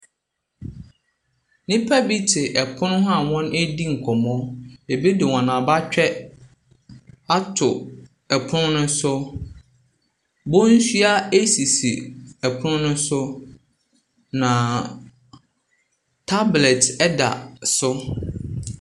Nnipa bi te pono ho a wɔredi nkɔmmɔ. Ebi de wɔn abatwɛ ato pono no so. Bonsua sisi pono no so, na tablet da so.